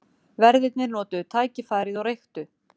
Verðirnir notuðu tækifærið og reyktu.